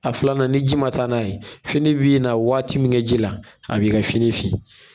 A filanan ni ji ma taa n'a ye fini bi na waati min kɛ ji la a bi ka fini fin.